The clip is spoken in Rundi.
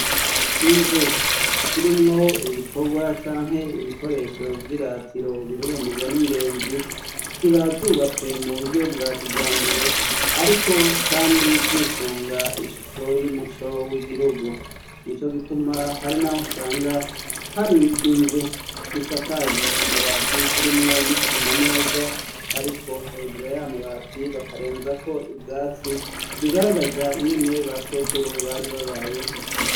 Inzu zirimwo ibikorwa canke ibikoresho vy'iratiro bihurumbirwa n'ingenzi ziba zubatswe mu buryo bwa kijambere ariko kandi zisunga ishusho y'umuco w'igihugu. Nico gituma hari naho usanga hari inzu zisakajwe amabati, zirimwo n'isima neza, ariko hejuru y'amabati bakarenzako ubwatsi, bigaragaza ingene ba sokuru bari babayeho.